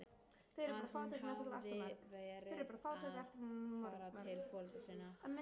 Að hún hefði verið að fara til foreldra sinna?